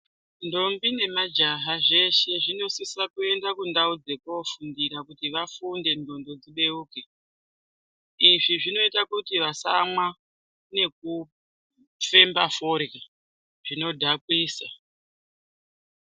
Ndombi nemajaha zveshe zvinosisa kuenda kundau dzekoofundira kuti vafunde ndxondo dzibeuke. Izvi zvinoita kuti vasamwa nekufemba foyya, zvinodhakwisa.